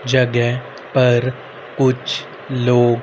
जगह पर कुछ लोग--